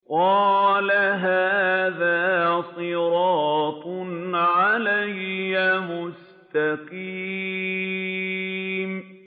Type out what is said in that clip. قَالَ هَٰذَا صِرَاطٌ عَلَيَّ مُسْتَقِيمٌ